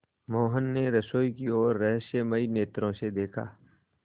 मोहन ने रसोई की ओर रहस्यमय नेत्रों से देखा